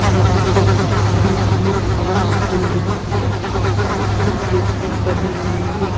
यहां पर बीच में हवन कुंड की आकृति जैसी बनी हुई है।